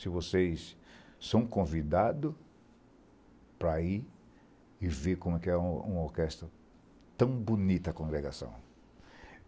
se vocês são convidados para ir e ver como é que é uma orquestra tão bonita, a congregação.